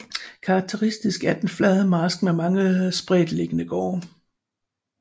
Karakteristisk er den flade marsk med mange spredtliggende gårde